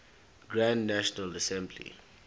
grand national assembly